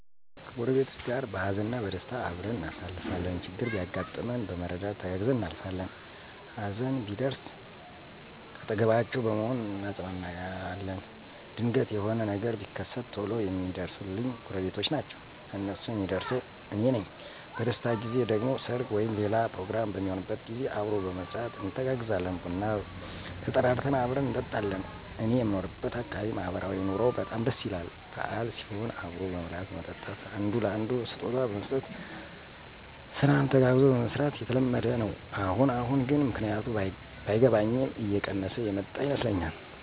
ከጎረቤቶቸ ጋር በሃዘንም በደስታም አብረን እናሳልፋለን። ችግር ቢያጋጥመን በመረዳዳት ተጋግዘን እናሳልፋለን። ሀዘን ቢደርስ ካጠገባቸዉ በመሆን አጵናናለዉ። ድንገት የሆነ ነገር ቢከት ቶሎ የሚደርሱልኝ ጎረቤቶቸ ናቸዉ። ለነሱም የምደርሰው አኔ ነኝ። በደስታ ጊዜ ደግሞ ሰርግ ወይም ሌላ ፕሮግራም በሚሆንበት ጊዜ አብሮ በመስራት እንተጋገዛለን። ቡና ተጠራርተን አብረን እንጠጣለን። እኔየምኖርበት አካባቢ ማህበራዊ ኑሮዉ በጣም ደስ ይላል። በአል ሲሆን አብሮ መብላት መጠጣት፣ አንዱ ለአንዱ ስጦታ መስጠት፣ ስራን ተጋግዞ መስራት የተለመደ ነዉ። አሁን አሁን ግን ምክንያቱ ባይገባኝም እየቀነሰ የመጣ ይመስለኛል።